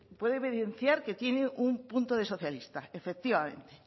puedo evidenciar que tiene un punto de socialista efectivamente